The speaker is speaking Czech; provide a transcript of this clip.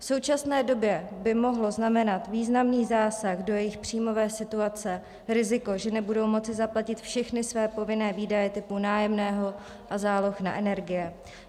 V současné době by mohlo znamenat významný zásah do jejich příjmové situace riziko, že nebudou moci zaplatit všechny své povinné výdaje typu nájemného a záloh na energie.